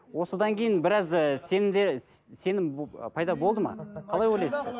осыдан кейін біраз ы сенім де сенім пайда болды ма қалай ойлайсыздар